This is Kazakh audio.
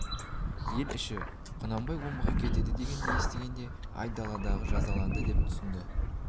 ел іші құнанбай омбыға кетеді екен дегенді естігенде айдалды жазаланды деп түсінді